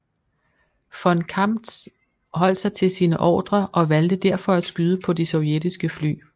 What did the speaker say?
Von Kamptz holdt sig til sine ordrer og valgte derfor at skyde på de sovjetiske fly